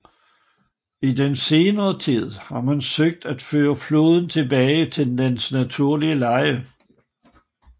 I den senere tid har man søgt at føre floden tilbage til dens naturlige leje